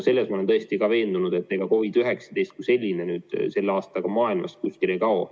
Selles ma olen täiesti veendunud, et ega COVID-19 selle aastaga maailmast kuskile ei kao.